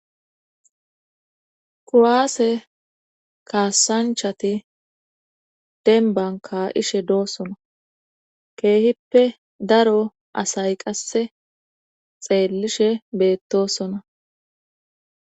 Kuwaase kaasanchati denbanka'ishe doossona keehippe daro asay qasse xeelishe beettosona.